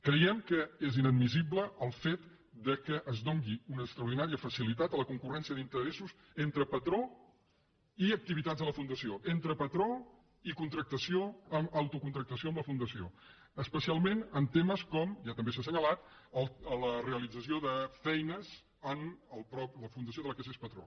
creiem que és inadmissible el fet que es doni una extraordinària facilitat a la concurrèn·cia d’interessos entre patró i activitats de la fundació entre patró i contractació amb autocontractació amb la fundació especialment en temes com ja també s’ha assenyalat la realització de feines en la fundació de què s’és patró